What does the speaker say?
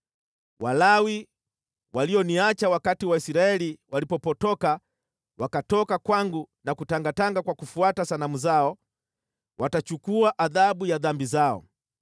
“ ‘Walawi walioniacha wakati Waisraeli walipopotoka wakatoka kwangu na kutangatanga kwa kufuata sanamu zao, watachukua adhabu ya dhambi zao.